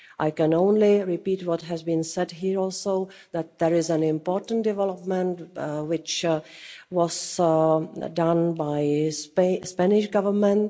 I can only repeat what has been said here also, that there is an important development, which was done by the Spanish Government.